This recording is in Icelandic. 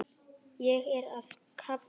Ég er að kafna.